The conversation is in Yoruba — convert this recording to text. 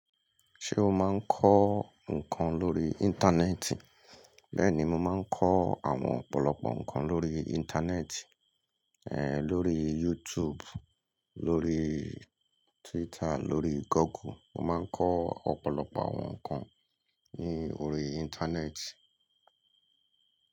Ṣé o máa ń kọ́ nnkan lórí Íńtánẹ́ẹ̀tì? Bẹ́ẹ̀ni, mo máa ń kọ́ àwọn ọ̀pọ̀lọpọ̀ nǹkan lórí Íńtánẹ́ẹ̀tì, ẹ̀ lórí YouTube, lórí Twitter, lórí Google. Mo máa ń kọ́ ọ̀pọ̀lọpọ̀ àwọn nǹkan ní orí Íńtánẹ́ẹ̀tì.